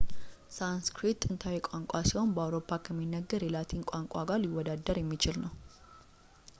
ሳንስክሪት ጥንታዊ ቋንቋ ሲሆን በአውሮፓ ከሚነገር የላቲን ቋንቋ ጋር ሊወዳደር የሚችል ነው